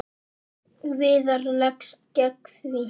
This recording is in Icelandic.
Viðar leggst gegn því.